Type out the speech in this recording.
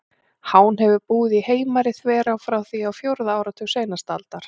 Hán hefur búið í Heimari-þverá frá því á fjórða áratug seinustu aldar.